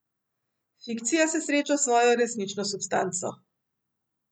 Fikcija se sreča s svojo resnično substanco.